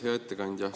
Hea ettekandja!